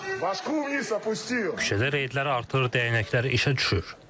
Rusiyanın qulpu aşağı düşdü, köçədə reytlər artır, dəyənəklər işə düşür.